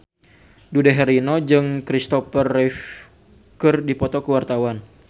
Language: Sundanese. Dude Herlino jeung Kristopher Reeve keur dipoto ku wartawan